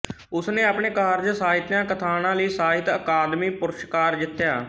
ਉਸਨੇ ਆਪਣੇ ਕਾਰਜ ਸਾਹਿਤਿਆ ਕਥਾਣਾ ਲਈ ਸਾਹਿਤ ਅਕਾਦਮੀ ਪੁਰਸਕਾਰ ਜਿੱਤਿਆ